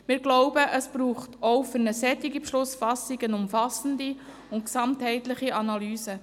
Wir glauben, es bedürfe auch für diese Beschlussfassung einer umfassenden und gesamthaften Analyse.